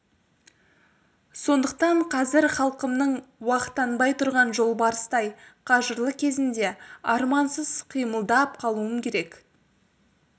сондықтан қазір халқымның уақтанбай тұрған жолбарыстай қажырлы кезінде армансыз қимылдап қалуым керек